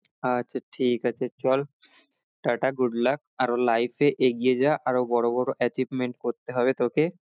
আচ্ছা ঠিক আছে চল টা টা good luck আরো life এ এগিয়ে যা আরো বড়ো বড়ো achievement করতে হবে তোকে